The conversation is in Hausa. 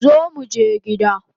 Zo muje gida